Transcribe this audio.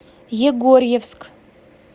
егорьевск